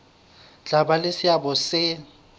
tla ba le seabo se